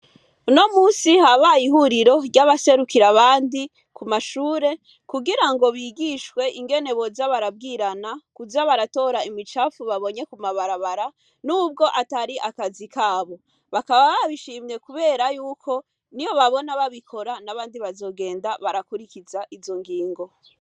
Uno musi habay’ihuriro ry’abaserukira abandi kumashure, kugirango bigishwe ingene boza barabwirana kuza baratora imicafu babonye kuma barabara nubwo atari akazi kabo. Bakaba babishimye kubera yuko , niyo babona babikora, nabandi bazogenda barakurikiza izo ngingo.